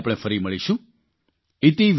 આવતા મહિને આપણે ફરી મળીશું